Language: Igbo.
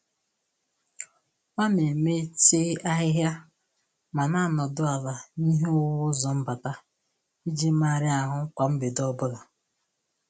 Ọ na eme tii ahịhịa ma na-anọdụ ala n'ihe owuwu ụzọ mbata iji megharịa ahụ kwa mgbede ọ bụla